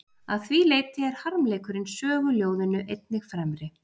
Að því leyti er harmleikurinn söguljóðinu einnig fremri.